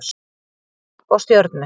Rauði og Stjörnu.